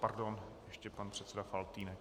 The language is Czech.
Pardon, ještě pan předseda Faltýnek.